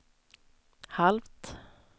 halvt